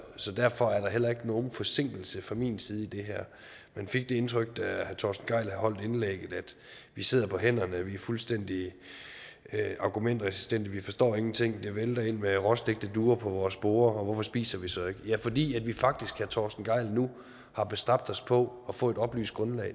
så derfor er der heller ikke nogen forsinkelse fra min side i det her man fik det indtryk da herre torsten gejl havde holdt indlægget at vi sidder på hænderne at vi er fuldstændig argumentresistente vi forstår ingenting det vælter ind med råstegte duer på vores bord og hvorfor spiser vi så ikke fordi vi faktisk jeg torsten gejl nu har bestræbt os på at få et oplyst grundlag